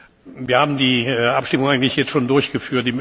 Wir haben die Abstimmung eigentlich jetzt schon durchgeführt.